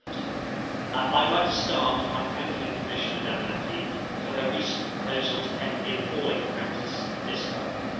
Mr President, I would like to start by thanking Commissioner Damanaki for her recent proposal to end the appalling practice of discarding.